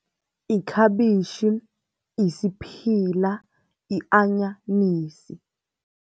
Ikhabitjhi, yisiphila, yi-anyanisi.